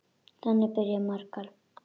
Þannig byrja margar.